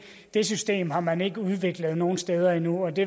det system har man ikke udviklet nogen steder endnu og det